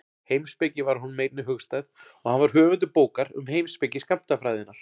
Heimspeki var honum einnig hugstæð og hann var höfundur bókar um heimspeki skammtafræðinnar.